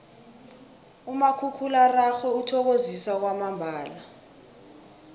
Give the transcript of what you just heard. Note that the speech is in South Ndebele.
umakhakhulararhwe uthokozisa kwamambala